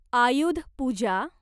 Ayudha Puja